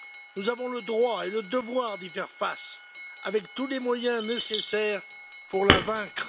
Nous avons le droit et le devoir d'y faire face, avec tous les moyens nécessaires pour la vaincre.